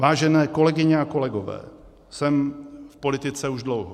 Vážené kolegyně a kolegové, jsem v politice už dlouho.